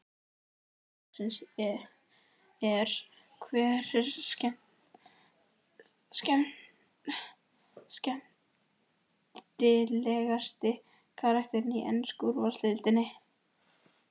Spurning dagsins er: Hver er skemmtilegasti karakterinn í ensku úrvalsdeildinni?